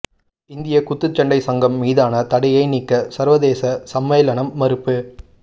இந்திய குத்துச்சண்டை சங்கம் மீதான தடையை நீக்க சர்வதேச சம்மேளனம் மறுப்பு